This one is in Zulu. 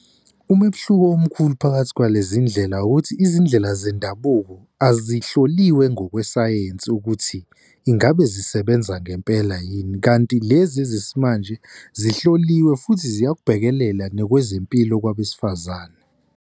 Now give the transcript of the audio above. Umehluko omkhulu phakathi kwalezi ndlela ukuthi izindlela zendabuko azihloliwe ngokwesayensi ukuthi ingabe zisebenza ngempela yini kanti lezi ezesimanje zihloliwe futhi ziyakubhekelela nokwezempilo kwabesifazane.